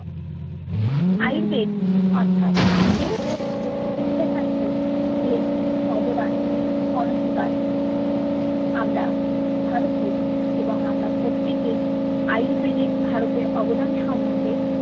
আযুর্বেদ অর্থাৎ সুচিকিৎসা শাস্ত্রএ এর অবদান অনস্বীকার্য আমরা ভারতীয় এবং আমরা প্রত্যেকেই আযুর্বেদএ ভারতের অবদান সম্বন্ধে